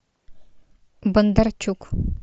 бондарчук